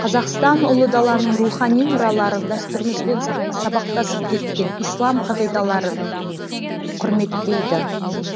қазақстан ұлы даланың рухани мұраларын дәстүрімізбен сабақтасып кеткен ислам қағиладарын құрметтейді